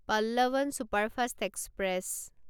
Pallavan superfast express